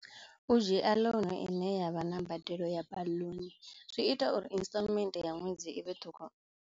U dzhia loan ine yavha na mbadelo ya baḽuni zwi ita uri instalment ya ṅwedzi i vhe ṱhukhu.